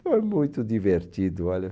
Foi muito divertido, olha.